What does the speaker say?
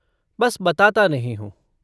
बस बताता नहीं हूँ।